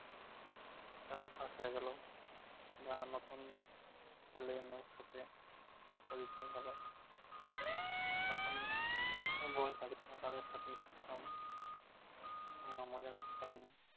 একটা অভ্যাস হয়ে গেল। যা নতুন ছেলে মেয়ের সাথে পরিচয় হলো। তখন বই collection এ তাদের সাথেই থাকতাম। আহ মজা করতাম